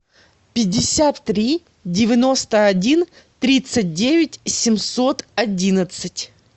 пятьдесят три девяносто один тридцать девять семьсот одиннадцать